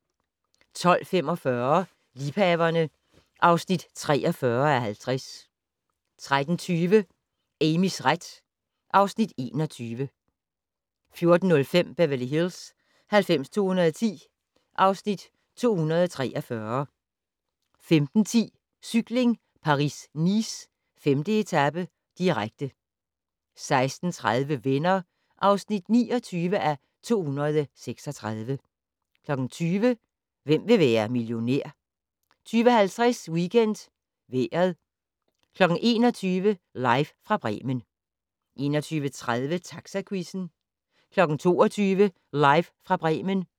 12:45: Liebhaverne (43:50) 13:20: Amys ret (Afs. 21) 14:05: Beverly Hills 90210 (Afs. 243) 15:10: Cykling: Paris-Nice - 5. etape, direkte 16:30: Venner (29:236) 20:00: Hvem vil være millionær? 20:50: WeekendVejret 21:00: Live fra Bremen 21:30: Taxaquizzen 22:00: Live fra Bremen